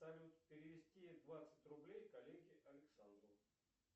салют перевести двадцать рублей коллеге александру